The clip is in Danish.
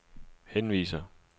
henviser